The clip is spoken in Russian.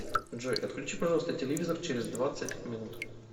джой отключи пожалуйста телевизор через двадцать минут